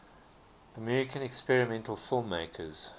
american experimental filmmakers